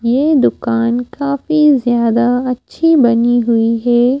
ये दुकान काफी ज़्यादा अच्छी बनी हुई है।